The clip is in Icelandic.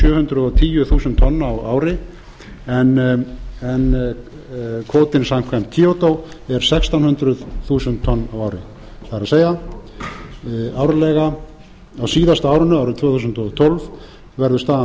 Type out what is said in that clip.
hundruð og tíu þúsund tonn á ári en kvótinn samkvæmt kvóta er sextán hundruð þúsund tonn á ári það er á síðasta árinu árið tvö þúsund og tólf verður staðan